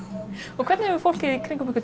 og hvernig hefur fólk